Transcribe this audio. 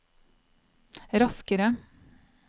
raskere